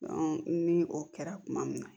ni o kɛra kuma min na